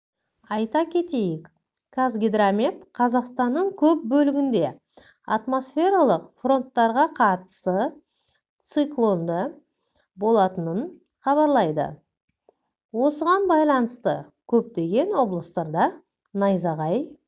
айта кетейік қазгидромет қазақстанның көп бөлігінде атмосфералық фронттарға қатысы циклондыболатынын хабарлайды осыған байланысты көптеген облыстарда найзағай